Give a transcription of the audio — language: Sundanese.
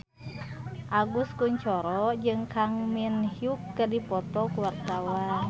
Agus Kuncoro jeung Kang Min Hyuk keur dipoto ku wartawan